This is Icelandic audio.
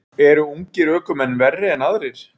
Eru ungir ökumenn verri en aðrir?